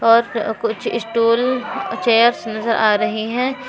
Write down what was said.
और कुछ stool chairs नजर आ रही हैं।